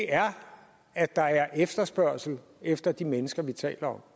er at der er efterspørgsel efter de mennesker vi taler om